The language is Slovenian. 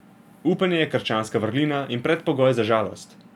Upanje je krščanska vrlina in predpogoj za žalost.